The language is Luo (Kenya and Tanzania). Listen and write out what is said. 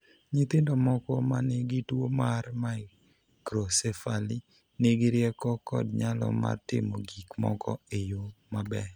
Nyithindo moko ma nigi tuwo mar microcephaly nigi rieko kod nyalo mar timo gik moko e yo maber.